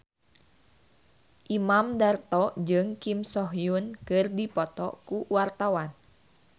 Imam Darto jeung Kim So Hyun keur dipoto ku wartawan